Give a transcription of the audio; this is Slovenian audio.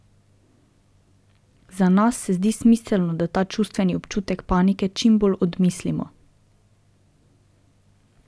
Za nas se zdi smiselno, da ta čustveni občutek panike čim bolj odmislimo.